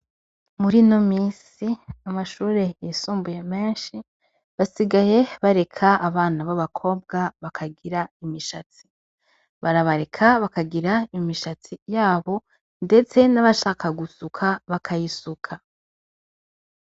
Muri ino misi amashure yisumbuye menshi basigaye bareka abana b' abakobwa bakagira imishatsi barabareka bakagira imishatsi yabo ndetse n' abashaka gusuka bakayisuka.